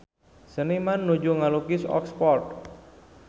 Seniman nuju ngalukis Oxford